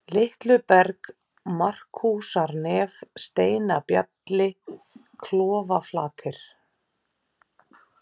Litluberg, Markúsarnef, Steinabjalli, Klofaflatir